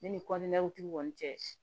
Ne ni tigiw kɔni cɛ